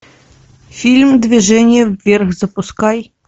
фильм движение вверх запускай